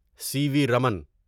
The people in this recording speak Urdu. سی وی رمن